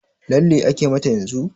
Lalle ake mata yanzun?